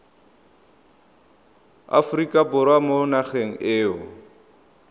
aforika borwa mo nageng eo